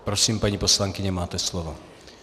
Prosím, paní poslankyně, máte slovo.